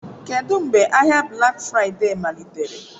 Kedu mgbe ahịa Black Friday malitere?